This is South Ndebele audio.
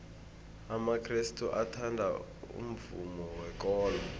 amakrestu athanda umvumo wekolo